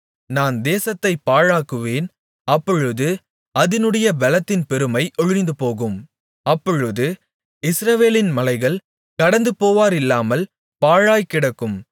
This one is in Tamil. நான் தேசத்தைப் பாழாக்குவேன் அப்பொழுது அதினுடைய பெலத்தின் பெருமை ஒழிந்துபோகும் அப்பொழுது இஸ்ரவேலின் மலைகள் கடந்துபோவாரில்லாமல் பாழாய்க்கிடக்கும்